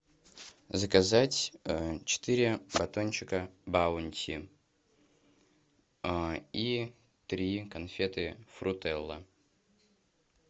заказать четыре батончика баунти и три конфеты фрутелла